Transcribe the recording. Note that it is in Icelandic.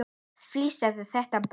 Fis fílar þetta í botn!